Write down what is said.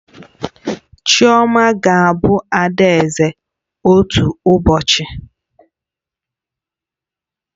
Chioma ga-abụ adaeze otu ụbọchị